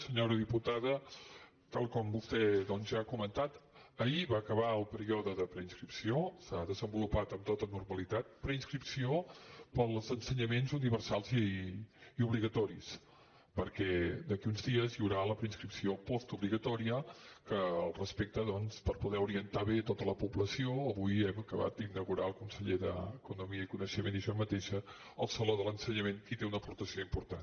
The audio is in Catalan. senyora diputada tal com vostè doncs ja ha comentat ahir va acabar el període de preinscripció s’ha desenvolupat amb tota normalitat per als ensenyaments universals i obligatoris perquè d’aquí a uns dies hi haurà la preinscripció postobligatòria respecte de poder orientar bé tota la població avui hem acabat d’inaugurar el conseller d’economia i coneixement i jo mateixa el saló de l’ensenyament que hi té una aportació important